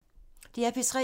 DR P3